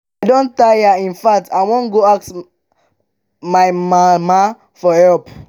i don tire in fact i wan go ask my ask my mama for help